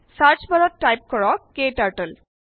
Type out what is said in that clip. search bar ত type কৰক KTurtle